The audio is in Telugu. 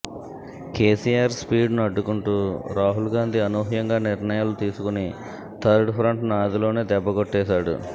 కేసీఆర్ స్పీడ్ను అడ్డుకుంటూ రాహుల్ గాంధీ అనూహ్యంగా నిర్ణయాలు తీసుకుని థర్డ్ ఫ్రంట్ను ఆదిలోనే దెబ్బ కొట్టేశాడు